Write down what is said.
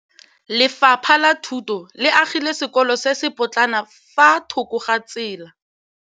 Lefapha la Thuto le agile sekôlô se se pôtlana fa thoko ga tsela.